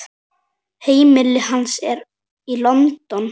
Heimili hans er í London.